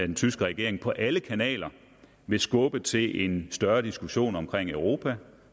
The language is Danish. den tyske regering på alle kanaler vil skubbe til en større diskussion om europa